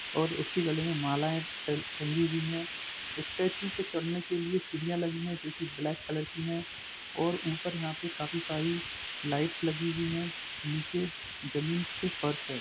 और उसकी गले में मालाऐ ट-टंगी हुई हैं स्टेचू पे चड़ने के लिए सीढ़ियां लगी हुई है जो की ब्लेक कलर की हैं और ऊपर यहाँ पे काफी सारी लाइट्स लगी हुई हैं निचे जमीन पे फ़र्स हैं।